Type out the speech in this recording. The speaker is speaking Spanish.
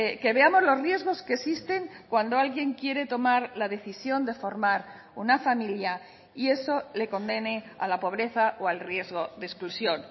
que veamos los riesgos que existen cuando alguien quiere tomar la decisión de formar una familia y eso le condene a la pobreza o al riesgo de exclusión